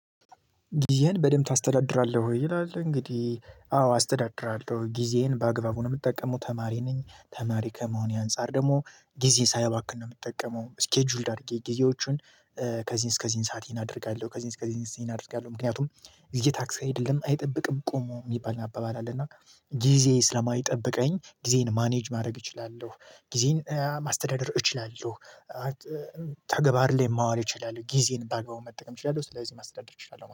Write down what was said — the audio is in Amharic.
ጊዜህን በደንብ ታስተዳድራለህ ወይ? ይላል እንግዲህ አዎ አስተዳድራለሁ ጊዜህን በአግባቡ ነው የምትጠቀመው ተማሪ ነኝ ተማሪ ከመሆኔ አንፃር ደግሞ ጊዜ ሳያባክን ነው የምትጠቀመው ስኬጁልድ አድርጌ ጊዜዎቹን ከዚህን እስከዚህን ሰዓት ይሄን አደርጋለሁ ከዚህን እስከዚህን ይሄን አደርጋለሁ ምክንያቱም ጊዜ ታክሲ አይደለም አይጠብቅም ቆሞ የሚባል አባባል አለና ጊዜ ስለማይጠብቀኝ ጊዜን ማኔጅ ማድረግ እችላለሁ ጊዜን ማስተዳደር እችላለሁ ተገባር ላይ ማዋል እችላለሁ ጊዜን ባግባቡ መጠቀም እችላለሁ ስለዚህ ማስተዳደር እችላለሁ